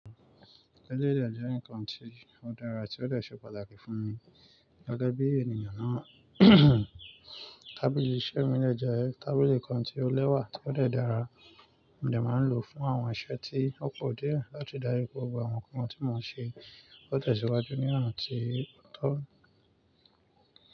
Tábìlì iṣẹ́ mi dẹ́ jẹ́ Tábìlì kan tí ó lẹ́wà tí ó dẹ̀ dára, mo dè máa ń lò fún àwọn iṣẹ́ tí ó pọ̀ díẹ̀ láti darí gbogbo àwọn nǹkan tí mò ń ṣe ó tẹ̀síwájú ní àǹtí ọ̀tún.